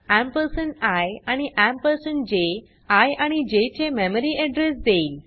ampersand I आणि ampersand J I आणि J चे मेमरी एड्रेस देईल